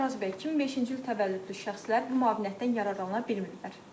Yəni Araz bəy, 2005-ci il təvəllüdlü şəxslər bu müavinətdən yararlana bilmirlər.